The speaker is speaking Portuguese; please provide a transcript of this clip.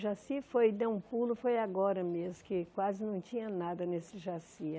Jaci foi, deu um pulo, foi agora mesmo, que quase não tinha nada nesse Jaci.